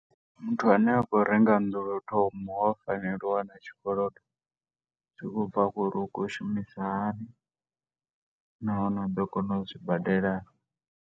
Muthu ane a khou renga nnḓu lwo u thoma, u a fanela u wana tshikolodo, zwi tshi khou bva kha uri u khou shumisa hani, nahone u ḓo kona u zwi badela naa.